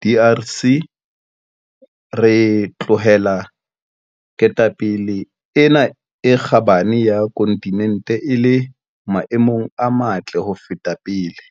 DRC, re tlohela ketapele ena e kgabane ya kontinente e le maemong a matle ho feta pele.